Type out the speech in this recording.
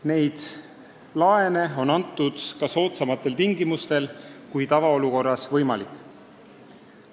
Neid laene on antud ka soodsamatel tingimustel, kui tavaolukorras võimalik.